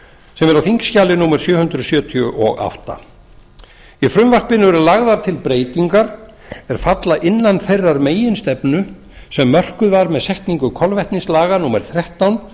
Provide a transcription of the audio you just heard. sem er á þingskjali númer sjö hundruð sjötíu og átta í frumvarpinu eru lagðar til breytingar er falla innan þeirrar meginstefnu sem mörkuð var með setningu kolvetnislaga númer þrettán